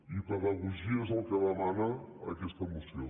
i pedagogia és el que demana aquesta moció